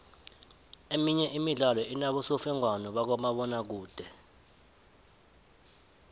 emenye imidlalo inobosofengwana bakamabona kude